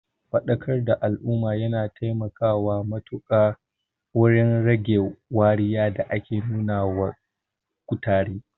Faɗakar da al'umma yana taimakawa matuƙa wurin rage wariya da ake nuna wa kutare.